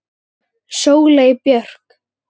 Sóley Björk